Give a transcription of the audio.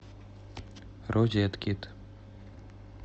розеткед